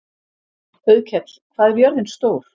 Auðkell, hvað er jörðin stór?